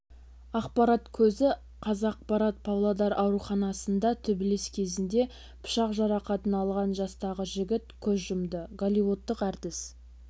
ақпарат көзі қазақпарат павлодар ауруханасында төбелес кезінде пышақ жарақатын алған жастағы жігіт көз жұмды голливудтық әртіс